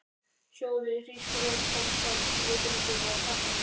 Sjóðið hrísgrjónin samkvæmt leiðbeiningum á pakkanum.